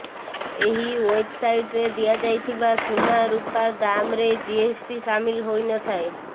ଏହି ୱେବସାଇଟରେ ଦିଆଯାଇଥିବା ସୁନା ରୂପ ଦାମରେ ଜିଏସଟି ସାମିଲ ହୋଇନଥାଏ